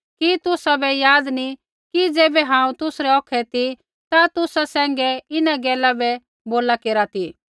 कि तुसाबै याद नी कि ज़ैबै हांऊँ तुसरै औखै ती ता तुसा सैंघै इन्हां गैला बै बोला केरा ती